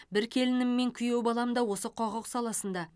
бір келінім мен күйеу балам да осы құқық саласында